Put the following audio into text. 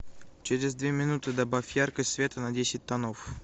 через две минуты добавь яркость света на десять тонов